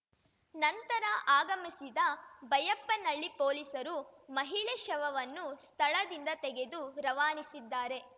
ನಂತರ ಆಗಮಿಸಿದ ಬೈಯಪ್ಪನಳ್ಳಿ ಪೊಲೀಸರು ಮಹಿಳೆ ಶವವನ್ನು ಸ್ಥಳದಿಂದ ತೆಗೆದು ರವಾನಿಸಿದ್ದಾರೆ